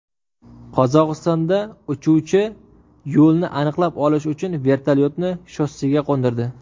Qozog‘istonda uchuvchi yo‘lni aniqlab olish uchun vertolyotni shossega qo‘ndirdi .